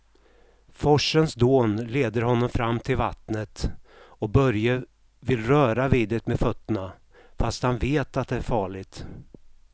Forsens dån leder honom fram till vattnet och Börje vill röra vid det med fötterna, fast han vet att det är farligt.